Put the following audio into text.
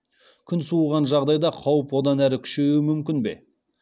күн суыған жағдайда қауіп одан әрі күшеюі мүмкін бе